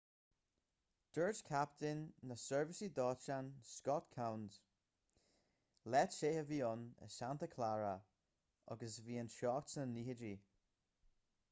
dúirt captaen na seirbhísí dóiteáin scott kouns lá te a bhí ann in santa clara agus bhí an teocht sna 90idí